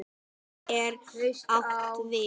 Hvað er átt við?